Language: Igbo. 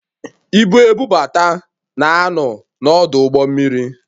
Ibu ebubata na ano n'ọdụ ụgbọ mmiri